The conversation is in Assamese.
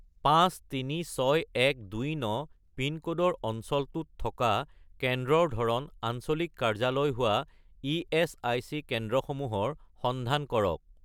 536129 পিনক'ডৰ অঞ্চলটোত থকা কেন্দ্ৰৰ ধৰণ আঞ্চলিক কাৰ্যালয় হোৱা ইএচআইচি কেন্দ্ৰসমূহৰ সন্ধান কৰক